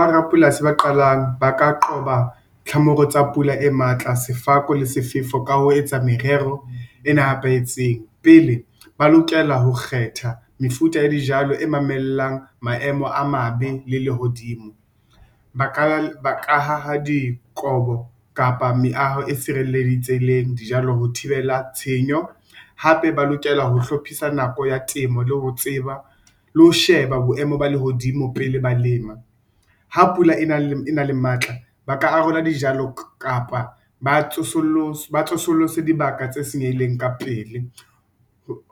Ba rapolasi ba qalang ba ka qoba tlhamoro tsa pula e matla sefako le sefefo ka ho etsa merero e nepahetseng pele ba lokela ho kgetha mefuta ya dijalo e mamellang maemo a mabe le lehodimo. Ba ka ha ha dikobo kapa meaho e sirelleditseng dijalo ho thibela tshenyo hape ba lokela ho hlophisa nako ya temo le ho tseba le ho sheba boemo ba lehodimo pele ba lema. Ha pula e nang le matla ba ka a rola dijalo kapa ba tsosolose dibaka tse senyehileng ka pele